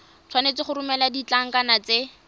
tshwanetse go romela ditlankana tse